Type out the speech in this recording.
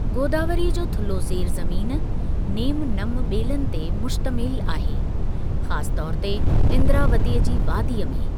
गोदावरीअ जो थुल्हो ज़ेर ज़मीन, नेमु नम ॿेलनि ते मुश्तमिल आहे, ख़ासि तौर ते इंद्रावतीअ जी वादीअ में।